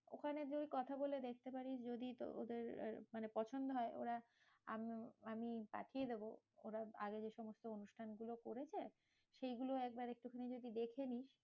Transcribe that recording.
ওখানে যদি কথা বলে দেখতে পারিস, যদি ওদের মানে পছন্দ হয় ওরা আমি আমি পাঠিয়ে দেব ওরা আগে এইসমস্ত অনুষ্ঠান গুলো করেছে। সেইগুলো একবার একটুখানি যদি দেখে নিস্।